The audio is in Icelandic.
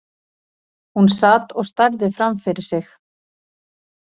Hún sat og starði framfyrir sig.